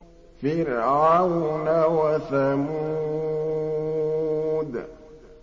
فِرْعَوْنَ وَثَمُودَ